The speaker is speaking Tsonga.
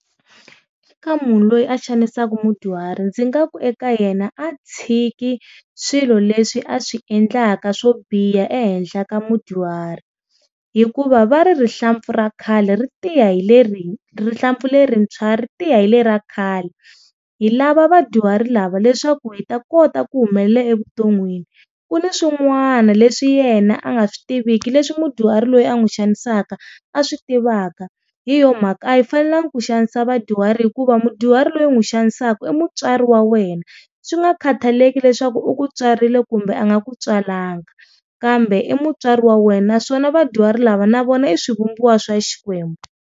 Ka munhu loyi a xanisaka mudyuhari ndzi nga ku eka yena a tshiki swilo leswi a swi endlaka swo biha ehenhla ka mudyuhari, hikuva va ri rihlampfu ra khale ri tiya hi le ri rihlampfu le rintshwa ri tiya hi le ra khale. Hi lava vadyuhari lava leswaku hi ta kota ku humelela evuton'wini ku ni swin'wana leswi yena a nga swi tiviki leswi mudyuhari loyi a n'wi xanisaka a swi tivaka, hi yo mhaka a hi fanelanga ku xanisa va vadyuhari hikuva mudyuhari loyi u n'wi xanisaka i mutswari wa wena, swi nga khataleki leswaku u ku tswarile kumbe a nga ku tswalanga kambe i mutswari wa wena naswona vadyuhari lava na vona i swi vumbiwa swa Xikwembu.